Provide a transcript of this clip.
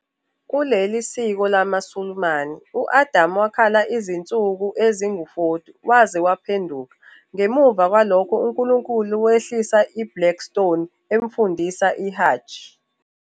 Kuleli siko lamaSulumane, u-Adam wakhala izinsuku ezingama-40 waze waphenduka, ngemuva kwalokho uNkulunkulu wehlisa iBlack Stone, emfundisa iHajj.